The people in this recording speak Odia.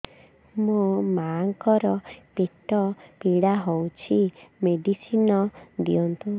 ମୋ ମାଆଙ୍କର ପେଟ ପୀଡା ହଉଛି ମେଡିସିନ ଦିଅନ୍ତୁ